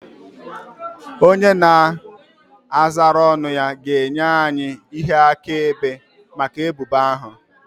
Onye a na-azara ọnụ ya ga-enye anyị ihe akaebe maka ebubo ahụ